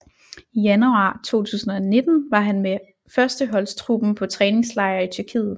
I januar 2019 var han med førsteholdstruppen på træningslejr i Tyrkiet